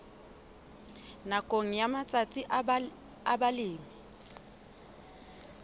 nakong ya matsatsi a balemi